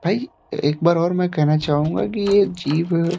भाई एक बार और मैं कहना चाहूंगा कि ये जीव --